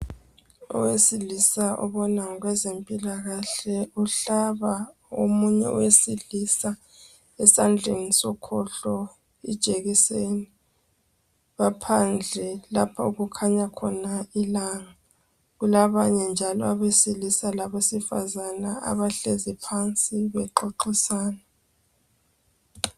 Owesilisa obona ngokwezempilakahle uhlaba omunye owesilisa esandleni sokhohlo ijekiseni baphandle lapho okukhanya khona ilanga kulabanye njalo abesilisa labesifazana abahlezi phansi bexoxisana